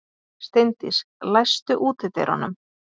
Steindís, læstu útidyrunum.